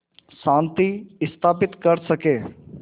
शांति स्थापित कर सकें